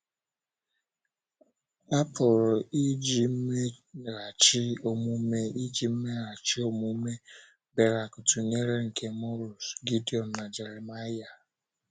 A pụrụ iji mmeghachi omume iji mmeghachi omume Berak tụnyere nke Morus, Gidiọn, na Jeremaịa?.